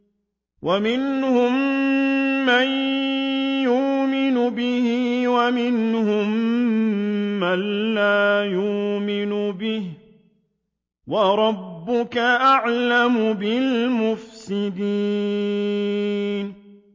وَمِنْهُم مَّن يُؤْمِنُ بِهِ وَمِنْهُم مَّن لَّا يُؤْمِنُ بِهِ ۚ وَرَبُّكَ أَعْلَمُ بِالْمُفْسِدِينَ